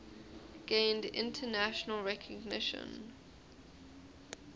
gained international recognition